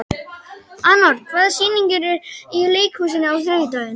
Anor, hvaða sýningar eru í leikhúsinu á þriðjudaginn?